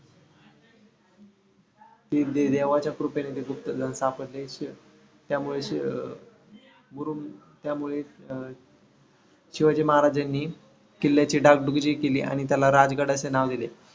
देवाच्या कृपेने ते गुप्त धन सापडले, त्यामुळे शिव अं मुरूम त्यामुळेच अं शिवाजी महाराजांनी किल्ल्याची डागडुजी केली आणि त्याला राजगड असे नाव दिले.